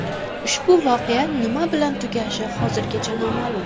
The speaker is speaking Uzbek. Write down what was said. Ushbu voqea nima bilan tugashi hozircha noma’lum.